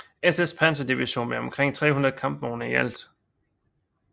SS panserdivision med omkring 300 kampvogne i alt